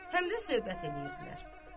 Həm də söhbət eləyirdilər.